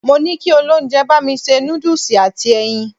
Mo ní kí olóúnjẹ bá mi ṣe noodles àti ẹyin.